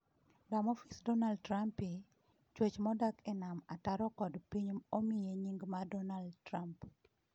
Dermophis donaldtrumpi: Chwech modak e nam ataro kod piny omiye nying mar Donald Trump